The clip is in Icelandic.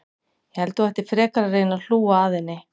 Ég held þú ættir frekar að reyna að hlúa að henni.